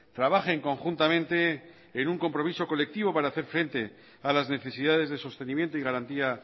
trabajen conjuntamente en un compromiso colectivo para hacer frente a las necesidades de sostenimiento y garantía